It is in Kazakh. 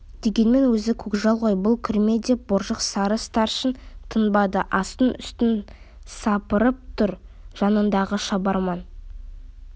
дегенмен өзі көкжал ғой бұл кірме деп боржық сары старшын тынбады астын-үстін сапырып тұр жанындағы шабарман